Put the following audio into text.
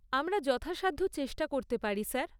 আমরা যথাসাধ্য চেষ্টা করতে পারি স্যার।